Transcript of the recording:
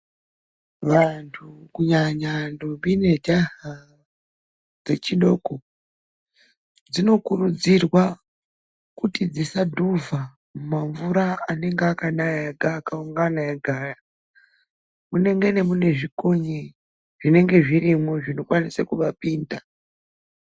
Vantu kunyanya ndombi nemajaha dzechidoko dzinokurudzirwa kuti dzisa dhuvha mumamvura anenge akanaya oungana ega .Munenge mune zvikonye zvinokwanisa kuvapinda .